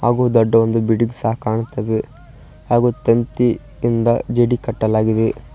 ಹಾಗು ದೊಡ್ಡ ಒಂದು ಬಿಲ್ಡಿಂಗ್ ಸಹ ಕಾಣುತ್ತಲಿದೆ ಹಾಗು ತಂತಿ ಇಂದ ಜಿಡಿ ಕಟ್ಟಲಾಗಿದೆ.